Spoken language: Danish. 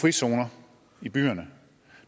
frizoner i byerne